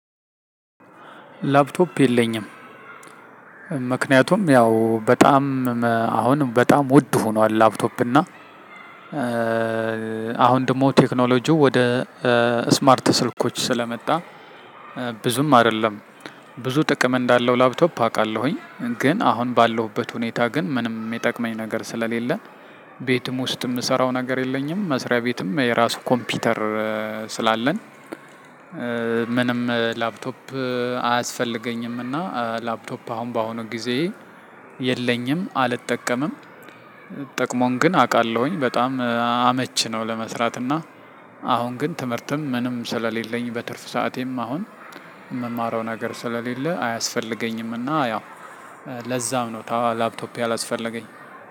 ላፕቶፕ የለኝም ምክንያቱም ያው በጣም አሁን በጣም ውድ ሆኗል ላፕቶፕ እና አሁን ደግሞ ቴክኖሎጂው ወደ ስማርት ስልኮች ስለመጣ ብዙም አይደለም ብዙ ጥቅም እንዳለው ላፕቶፕ አውቃለሁኝ ግን አሁን ባለሁበት ሁኔታ ግን ምንም የሚጠቅመኝ ነገር ስለሌለን ቤትም ውስጥ የምሰራው ነገር የለኝም መስሪያ ቤትም የራሱ ኮምፒውተር ስላለን ምንም ላፕቶፕ አያስፈልገኝም እና ላፕቶፕ አሁን በአሁኑ ጊዜ የለኝም አልጠቀምም። ጥቅሙን ግን አውቃለሁኝ በጣም አመች ነው ለመስራት እና አሁን ግን ትምህርትም ምንም ስለሌለኝ በትርፍ ሰዓቴም አሁን የምማረው ነገር ስለሌለ አያስፈልገኝም እና ያው ለዛም ነው ላፕቶፕ ያላስፈለገኝ።